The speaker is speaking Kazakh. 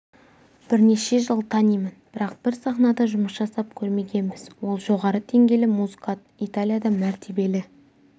бірнеше жыл танимын бірақ бір сахнада жұмыс жасап көрмегенбіз ол жоғары деңгейлі музыкант италияда мәртебелі